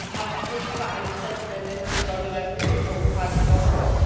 Das Programm hat nicht für eine Trendwende insbesondere in Südeuropa gesorgt.